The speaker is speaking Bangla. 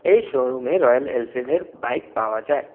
এই শোরুমে রয়্যাল এলফিল্ডের বাইক পাওয়া যায় ।